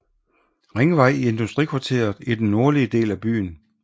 Ringvej i industrikvarteret i den nordlige del af byen